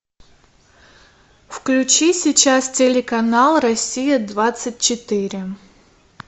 включи сейчас телеканал россия двадцать четыре